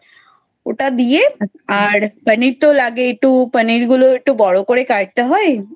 ওটা দিয়ে আর পানির তো লাগেই একটু পানির গুলো একটু বড়ো কাটতে হয়